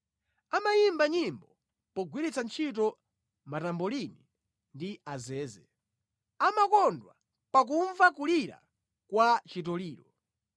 Amayimba nyimbo pogwiritsa ntchito matambolini ndi azeze; amakondwa pakumva kulira kwa chitoliro.